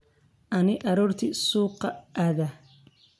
Ani arorti suuka aadha.